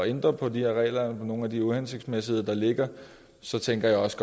ændre på de regler og nogle af de uhensigtsmæssigheder der ligger og så tænker jeg også